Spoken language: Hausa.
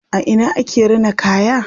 A ina ake rina kaya?